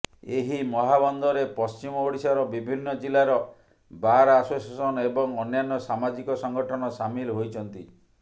ଏହି ମହାବନ୍ଦରେ ପଶ୍ଚିମ ଓଡ଼ିଶାର ବିଭିନ୍ନ ଜିଲ୍ଲାର ବାର୍ ଆସୋସିଏସନ୍ ଏବଂ ଅନ୍ୟାନ୍ୟ ସାମାଜିକ ସଂଗଠନ ସାମିଲ ହୋଇଛନ୍ତି